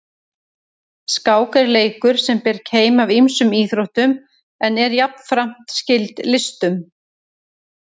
Skák er leikur sem ber keim af ýmsum íþróttum en er jafnframt skyld listunum.